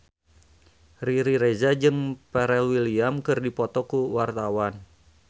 Riri Reza jeung Pharrell Williams keur dipoto ku wartawan